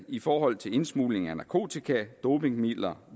i forhold til indsmugling af narkotika dopingmidler